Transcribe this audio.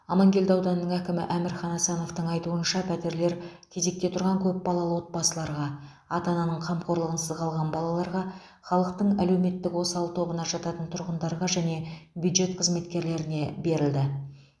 амангелді ауданының әкімі әмірхан асановтың айтуынша пәтерлер кезекте тұрған көп балалы отбасыларға ата ананың қамқорлығынсыз қалған балаларға халықтың әлеуметтік осал тобына жататын тұрғындарға және бюджет қызметкерлеріне берілді